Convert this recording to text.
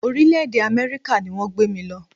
Orílẹ̀-èdè Amẹ́ríkà ni wọ́n gbé mí lọ.